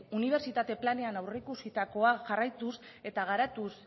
unibertsitate planean aurreikusitakoa jarraituz eta garatuz